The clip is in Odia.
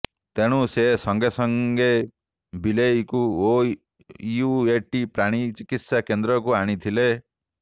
ତେଣୁ ସେ ସଙ୍ଗେସଙ୍ଗେ ବିଲେଇକୁ ଓୟୁଏଟି ପ୍ରାଣୀ ଚିକିତ୍ସା କେନ୍ଦ୍ରକୁ ଆଣିଥିଲେ